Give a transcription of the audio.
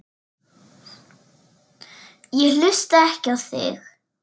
Ég hlusta ekki á þig.